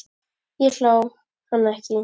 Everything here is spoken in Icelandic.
Ég hló, hann ekki.